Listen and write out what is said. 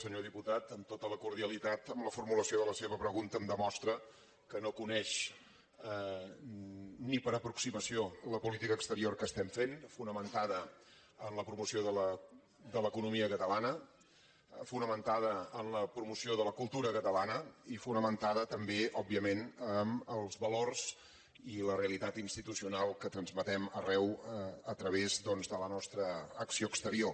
senyor diputat amb tota la cordialitat amb la formulació de la seva pregunta em demostra que no coneix ni per aproximació la política exterior que estem fent fonamentada en la promoció de l’economia catalana fonamentada en la promo ció de la cultura catalana i fonamentada també òbviament en els valors i la realitat institucional que transmetem arreu a través doncs de la nostra acció exterior